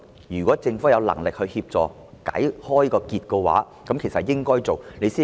如果政府有能力協助把結解開，便應付諸實行。